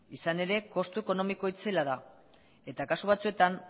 izan ere kostu ekonomiko itzela da eta kasu batzuetan